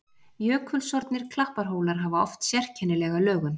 Jökulsorfnir klapparhólar hafa oft sérkennilega lögun.